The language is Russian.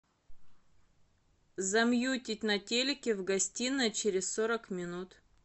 замьютить на телике в гостиной через сорок минут